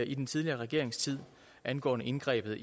i den tidligere regerings tid angående indgrebet